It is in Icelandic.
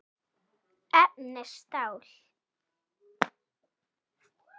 Efni: stál.